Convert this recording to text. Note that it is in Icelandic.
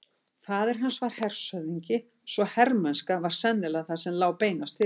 Faðir hans var hershöfðingi svo hermennska var sennilega það sem lá beinast fyrir honum.